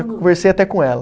Eu conversei até com ela.